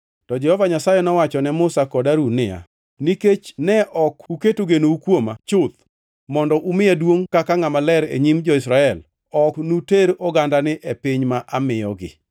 To Jehova Nyasaye nowacho ne Musa kod Harun niya, “Nikech ne ok uketo genou kuoma chuth mondo umiya duongʼ kaka ngʼama ler e nyim jo-Israel, ok unuter ogandani e piny ma amiyogi.”